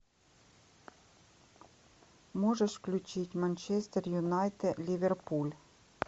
можешь включить манчестер юнайтед ливерпуль